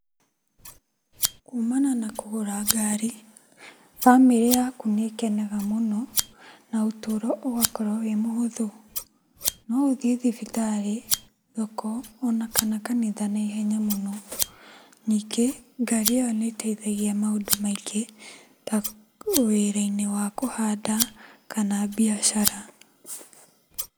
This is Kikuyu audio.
Kumana na kũgũra ngari, bamĩrĩ yaku nĩ ĩkenaga mũno na ũtũro ũgakorwo wĩ mũhũthũ. No ũthiĩ thibitarĩ, thoko ona kana kanitha na ihenya mũno. Ningĩ ngari ĩyo nĩ ĩteithagia maũndu maingĩ ta wĩra-inĩ wa kũhanda, kana biacara.